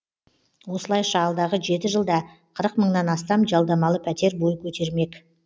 осылайша алдағы жеті жылда қырық мыңнан астам жалдамалы пәтер бой көтермек